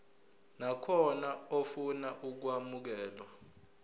nakhona ofuna ukwamukelwa